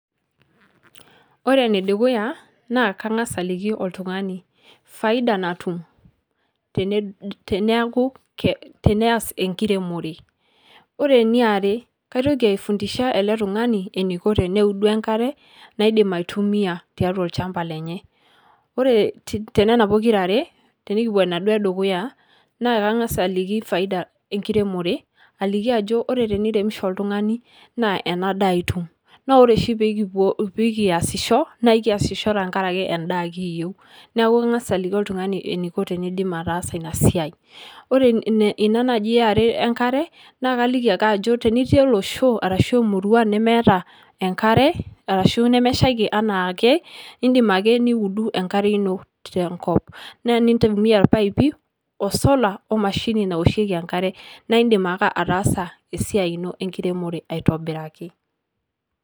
Ore ene dukuya naa kang'asa aliki oltung'ani faida natum tened teneaku ke teneas enkiremore. Ore eniare kaitoki aifundisha ele tung'ani eniko teneudu enkare naidim aitumia tiatua olchamba lenye, ore te nena pokirare , tenikipuo enaduo edukuya, naa kang'asa aliki faida enkiremore aliki ajo ore teniremisho oltung'ani naa ena daa itum naa ore oshi pee kipuo pii kiasisho naa kiasiho tenkaraki endaa kiyeu, neeku ang'asa aliki oltung'ani eniko teniidim ataasa ina siai. Ore ina naaji e are enkare naake kaliki ake ajo tenitii olosho arashu emurua nemeeta enkare, arashu nemeshaiki enaa ake indim ake niudu enkare ino te nkop, naa enintumia irpaipi o solar o emashini nawosheki enkare naa indim ake ataasa esiai ino enkiremore aitobiraki.